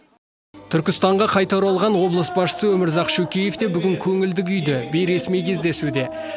түркістанға қайта оралған облыс басшысы өмірзақ шөкеев те бүгін көңілді күйде бейресми кездесуде